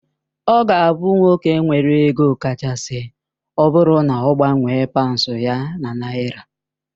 Ọ ga abụ nwoke nwere ego kachasị ọbụrụ na agbanwe paunds ya na naira.